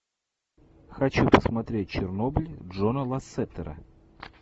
хочу посмотреть чернобыль джона лассетера